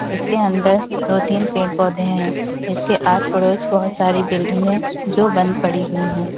इसके अंदर दो तीन पेड़ पौधे हैं। इसके आस पड़ोस बहोत सारी बिल्डिंगे जो बंद पड़ी हुई हैं।